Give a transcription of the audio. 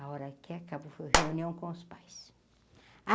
A hora que acabou, foi reunião com os pais.